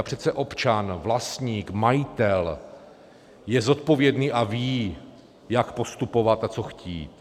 A přece občan, vlastník, majitel je zodpovědný a ví, jak postupovat a co chtít.